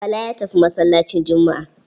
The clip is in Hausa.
Bala ya tafi masallacin Juma'a.